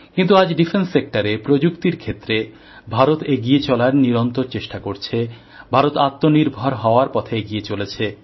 কিন্তু আজ প্রতিরক্ষা ক্ষেত্রে প্রযুক্তির ক্ষেত্রে ভারত এগিয়ে চলার নিরন্তর চেষ্টা করছে ভারত আত্মনির্ভর হওয়ার পথে এগিয়ে চলেছে